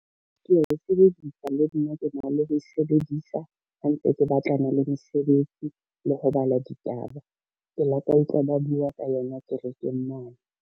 Kea e sebedisa le nna ke na le ho e sebedisa ha ntse ke batlana le mesebetsi le ho bala ditaba. Ke la ka utlwa ba bua ka yona kerekeng mane.